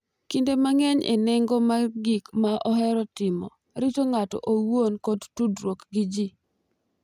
Kinde mang’eny e nengo mar gik ma ohero timo, rito ng’ato owuon, kod tudruok gi ji.